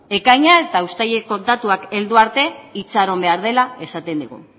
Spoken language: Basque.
ekaina eta uztaileko datuak heldu arte itxaron behar dela esaten digu